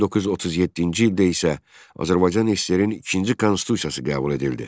1937-ci ildə isə Azərbaycan SSR-in ikinci konstitusiyası qəbul edildi.